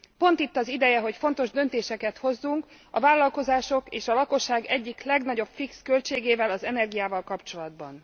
Pont itt az ideje, hogy fontos döntéseket hozzunk a vállalkozások és a lakosság egyik legnagyobb fix költségével, az energiával kapcsolatban.